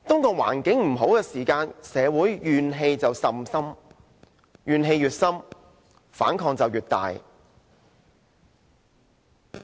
當環境欠佳時，社會的怨氣甚深，怨氣越深，反抗就越大。